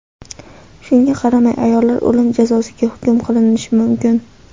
Shunga qaramay, ayollar o‘lim jazosiga hukm qilinishi mumkin.